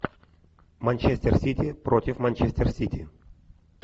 манчестер сити против манчестер сити